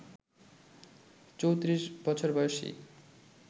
৩৪ বছর বয়সী